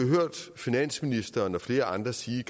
hørt finansministeren og flere andre sige